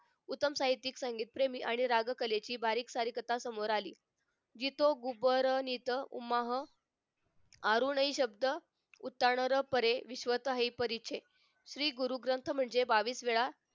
उत्तम साहित्यिक संगीतप्रेमी आणि रागकलेची बारीक सारीक कथा समोर आली जातो उमरात उमाह आरोनही शब्द उतानाही परे भीष्मानाही परी छे श्री गुरु ग्रंथ म्हणजे बावीस वेळा